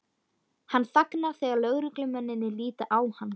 Hann þagnar þegar lögreglumennirnir líta á hann.